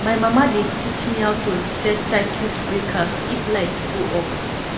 my mama dey teach me how to reset circuit breakers if light go off